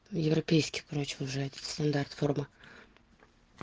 европейский короче уже один стандарт курган